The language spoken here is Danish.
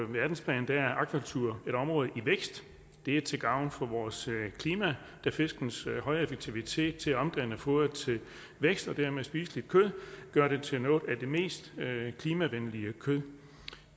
verdensplan er akvakultur et område i vækst det er til gavn for vores klima da fiskens høje effektivitet til at omdanne foderet til vækst og dermed spiseligt kød gør det til noget af det mest klimavenlige kød